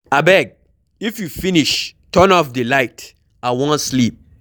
Abeg if you finish turn off the light, I wan sleep.